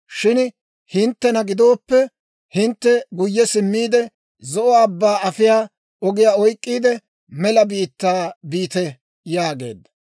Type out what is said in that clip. Shin hinttena gidooppe, hintte guyye simmiide, Zo'o Abbaa afiyaa ogiyaa oyk'k'iide, mela biittaa biite yaageedda.